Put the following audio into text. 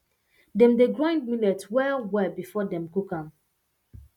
dem dey grind millet wellwell before dem cook am